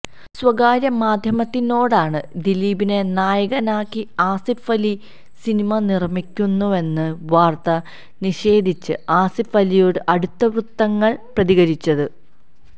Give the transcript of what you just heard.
സ്വകാര്യ മാധ്യമത്തിനോടാണ് ദിലീപിനെ നായകനാക്കി ആസിഫ് അലി സിനിമ നിര്മിക്കുന്നുവെന്ന വാര്ത്ത നിഷേധിച്ച് ആസിഫ് അലിയോട് അടുത്തവൃത്തങ്ങള് പ്രതികരിച്ചത്